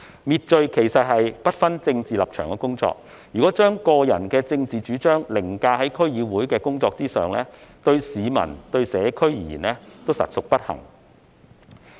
滅罪是不分政治立場的工作，如果把個人的政治主張凌駕於區議會的工作之上，對市民和社區而言，實屬不幸。